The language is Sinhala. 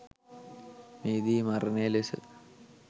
මෙහිදී මරණය ලෙස